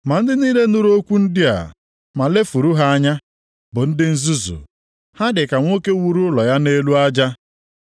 Ma ndị niile nụrụ okwu ndị a, ma lefuru ha anya, bụ ndị nzuzu. Ha dị ka nwoke wuru ụlọ ya nʼelu aja.